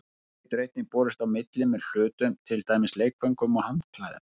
Smit getur einnig borist á milli með hlutum, til dæmis leikföngum og handklæðum.